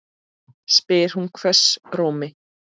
spyr hún hvössum rómi.